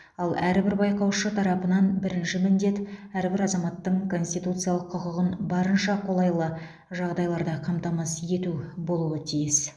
ал әрбір байқаушы тарапынан бірінші міндет әрбір азаматтың конституциялық құқығын барынша қолайлы жағдайларда қамтамасыз ету болуы тиіс